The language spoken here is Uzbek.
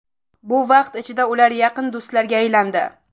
Bu vaqt ichida ular yaqin do‘stlarga aylandi.